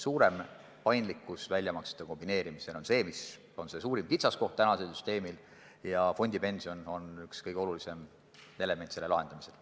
Suurem paindlikkus väljamaksete kombineerimisel on tänase süsteemi suurim kitsaskoht ja fondipension on üks kõige olulisem element selle lahendamisel.